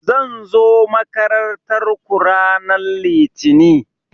Zan zo makarantar ku ranan litini